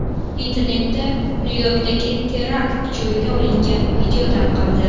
Internetda Nyu-Yorkdagi terakt joyida olingan video tarqaldi .